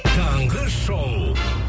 таңғы шоу